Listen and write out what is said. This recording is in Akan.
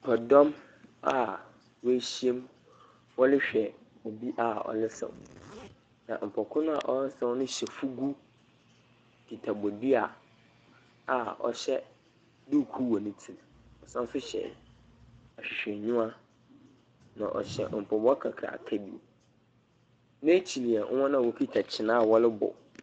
Nyimpadɔm a woehyia mu wɔrehwɛ obi a ɔresaw. Na nyimpa kor no a ɔresaw no hyɛ fugu kita bodua a ɔhyɛ duukuu wɔ ne tsir. Ɔsan nso hyɛ ahwehwɛnyiwa, na ɔhyɛ mpaboa kakraka bi. N'ekyir yɛ hɔn a wokita kyen a wɔrobɔ.